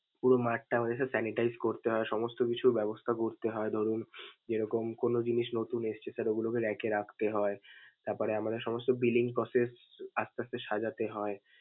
পুরো mart টা আমাদের sir sanitize করতে হয়, সমস্ত কিছু ব্যবস্থা করতে হয়, ধরুন যেরকম কোনো জিনিস নতুন এসেছে sir এগুলোকে rack এ রাখতে হয়. তারপরে আমাদের সমস্ত billing process আসতে আসতে সাজাতে হয়।